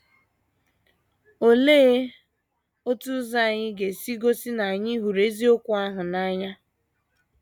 Olee otu ụzọ anyị ga - esi egosi na anyị hụrụ eziokwu ahụ n’anya?